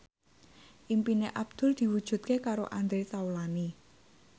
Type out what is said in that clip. impine Abdul diwujudke karo Andre Taulany